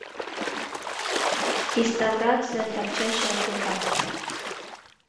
реставрация торчащего клыка